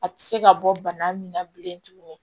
A tɛ se ka bɔ bana min na bilen tuguni